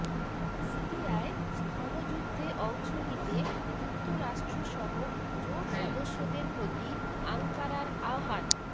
সিরিয়ায় স্থলযুদ্ধে অংশ নিতে যুক্তরাষ্ট্রসহ জোটসদস্যদের প্রতি আঙ্কারার আহ্বান